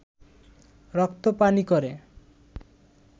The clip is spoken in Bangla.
রক্ত পানি করে